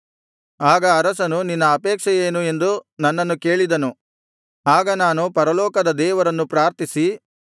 ಆಗ ಅರಸನು ನಿನ್ನ ಅಪೇಕ್ಷೆಯೇನು ಎಂದು ನನ್ನನ್ನು ಕೇಳಿದನು ಆಗ ನಾನು ಪರಲೋಕದ ದೇವರನ್ನು ಪ್ರಾರ್ಥಿಸಿ